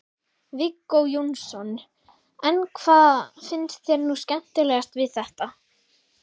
Viggó Jónsson: En hvað finnst þér nú skemmtilegast við þetta?